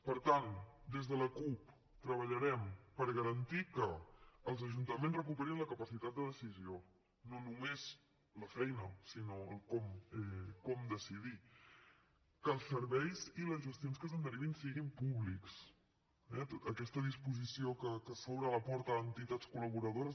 per tant des de la cup treballarem per garantir que els ajuntaments recuperin la capacitat de decisió no només la feina sinó com decidir que els serveis i les gestions que se’n derivin siguin públics eh aquesta disposició en què s’obre la porta a entitats col·laboradores